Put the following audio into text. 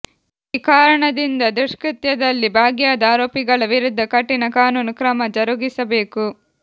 ಈ ಕಾರಣದಿಂದ ದುಷ್ಕೃತ್ಯದಲ್ಲಿ ಭಾಗಿಯಾದ ಆರೋಪಿಗಳ ವಿರುದ್ಧ ಕಠಿಣ ಕಾನೂನು ಕ್ರಮ ಜರುಗಿಸಬೇಕು